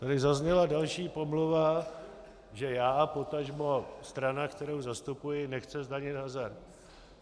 Tady zazněla další pomluva, že já, potažmo strana, kterou zastupuji, nechce zdanit hazard.